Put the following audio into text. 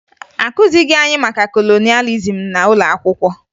Akụzighi anyị maka kolonịalizim n'ụlọ akwụkwọ